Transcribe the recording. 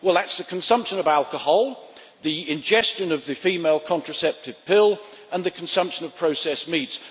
Well, that includes the consumption of alcohol, the ingestion of the female contraceptive pill, and the consumption of processed meats.